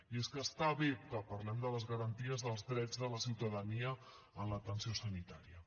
i és que està bé que parlem de les garanties dels drets de la ciutadania en l’atenció sanitària